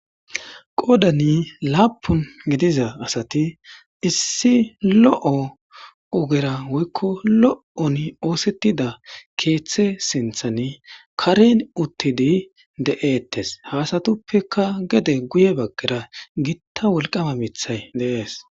Qoodani lappuni gidida assati issi loyiya ogera woyikko lo'on isetida kethe sinthani kareni utidi kdeyetesi ha assatupeka gede guye baggara gitta woliqama mithayi deyesi